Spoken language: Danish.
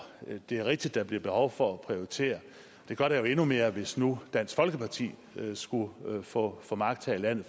det er rigtigt at der bliver behov for at prioritere det gør der jo endnu mere hvis nu dansk folkeparti skulle få få magt her i landet